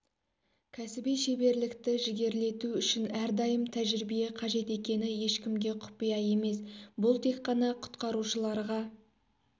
кәсіби шеберлікті жігерлету үшін әр дайым тәжірибе қажет екені ешкімге құпия емес бұл тек қана құтқарушыларға